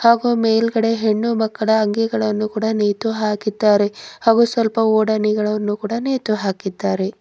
ಹಾಗು ಮೇಲ್ಗಡೆ ಹೆಣ್ಣು ಮಕ್ಕಳ ಅಂಗಿಗಳನ್ನು ಕೂಡ ನೇತು ಹಾಕಿದ್ದಾರೆ ಹಾಗೂ ಸ್ವಲ್ಪ ಓಡೋನಿಗಳನ್ನು ಕೂಡ ನೇತು ಹಾಕಿದ್ದಾರೆ.